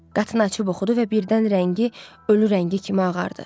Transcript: Qatını açıb oxudu və birdən rəngi ölü rəngi kimi ağardı.